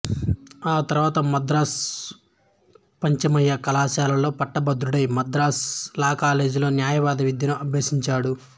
ఆ తర్వాత మద్రాసు పచ్చయ్యప్ప కళాశాలలో పట్టభద్రుడై మద్రాసు లా కాలేజీలో న్యాయవాద విద్యను అభ్యసించాడు